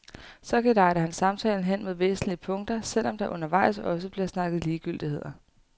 Så gelejder han samtalen hen mod væsentlige punkter, selv om der undervejs også bliver snakket ligegyldigheder.